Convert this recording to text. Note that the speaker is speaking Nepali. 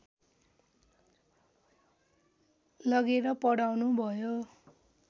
लगेर पढाउनुभयो